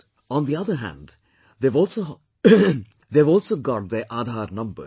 On the other hand, they have also got their Aadhar numbers